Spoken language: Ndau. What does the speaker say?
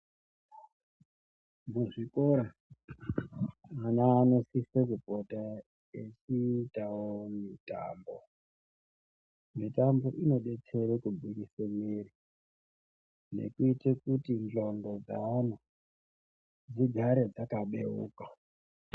Muzvikora ana anosisa kupota eita mitambo inodetsera kuburitsa mwiri ngekuita kuti ngonxo dzeana igare yakahlamburika.